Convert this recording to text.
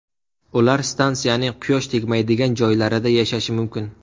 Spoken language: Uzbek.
Ular stansiyaning quyosh tegmaydigan joylarida yashashi mumkin.